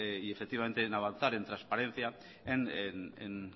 y avanzar en transparencia en